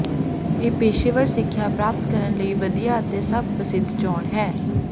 ਇਹ ਪੇਸ਼ੇਵਰ ਸਿੱਖਿਆ ਪ੍ਰਾਪਤ ਕਰਨ ਲਈ ਵਧੀਆ ਅਤੇ ਸਭ ਪ੍ਰਸਿੱਧ ਚੋਣ ਹੈ